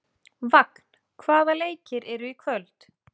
Vagn, hvaða leikir eru í kvöld?